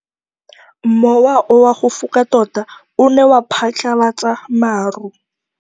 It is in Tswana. Mowa o wa go foka tota o ne wa phatlalatsa maru.